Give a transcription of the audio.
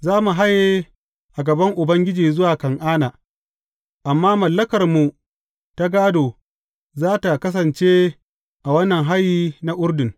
Za mu haye a gaban Ubangiji zuwa Kan’ana, amma mallakarmu ta gādo, za tă kasance a wannan hayi na Urdun.